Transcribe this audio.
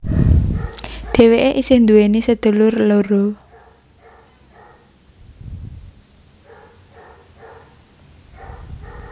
Dhewéke isih nduweni sedulur loro